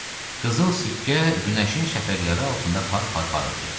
Qızıl sikkə günəşin şəfəqləri altında par-par parıldayırdı.